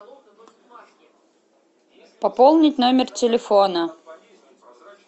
пополнить номер телефона